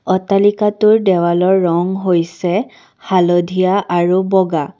অট্টালিকাটোৰ দেৱালৰ ৰং হৈছে হালধীয়া আৰু বগা।